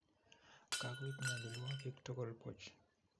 Kakoib nyalilwakik tugul buch